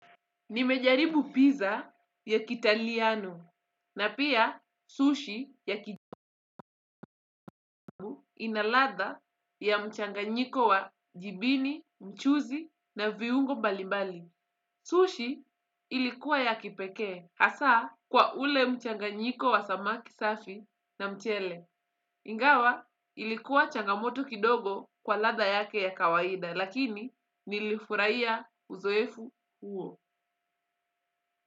Nimejaribu pizza ya kiitaliano na pia sushi ya kijapan ina ladha ya mchanganyiko wa jibini, mchuzi na viungo mbalimbali. Sushi ilikuwa ya kipekee, hasa kwa ule mchanganyiko wa samaki safi na mchele. Ingawa ilikuwa changamoto kidogo kwa ladha yake ya kawaida, lakini nilifurahiya uzoefuh uo.